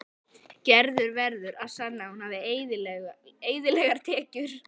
Gerður verður að sanna að hún hafi eðlilegar tekjur.